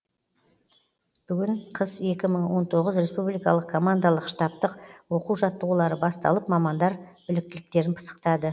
бүгін қыс екі мың он тоғыз республикалық командалық штабтық оқу жаттығулары басталып мамандар біліктіліктерін пысықтады